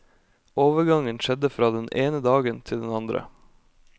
Overgangen skjedde fra den ene dagen til den andre.